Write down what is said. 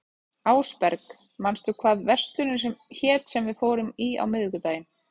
Ásberg, manstu hvað verslunin hét sem við fórum í á miðvikudaginn?